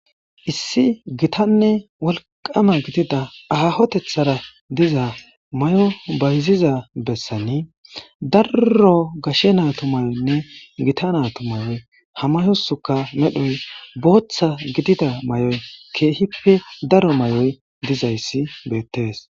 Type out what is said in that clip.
Issi gitanne wolqama gidida aahotethara diza mayo bayiziza bessani daro gashe naatu mayoyinne gita natu mayoy ha mayosika medhoy booththa gidida mayoy keehippe daro mayoy diza issi beettees.